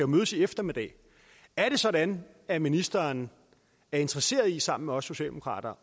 mødes i eftermiddag er det sådan at ministeren er interesseret i sammen med os socialdemokrater